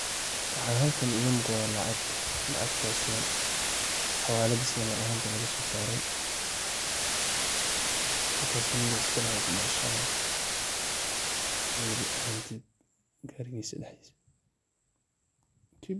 Waxa halkan iga muqdah, lacg lacgtaaso xawaalat Isla mar ahaanta laga so saray halkasi ninki iskalahay kubashaly .waliba hanti Gareeysah seedaxdees.